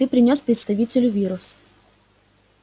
ты принёс представителю вирус